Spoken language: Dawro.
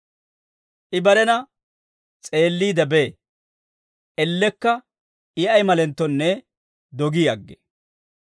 I barena s'eelliide bee; ellekka I ay malenttonne dogi aggee.